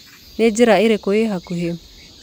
Nĩ njĩra irĩkũ ĩhakuhĩ?